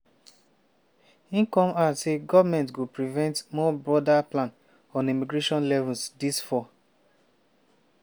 im come add say goment go present more broader plan on immigration levels dis fall.